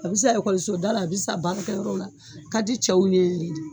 A bi san ekɔlisoda la , a bi san baarakɛyɔrɔw la, a ka di cɛw ye